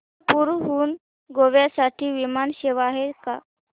नागपूर हून गोव्या साठी विमान सेवा आहे का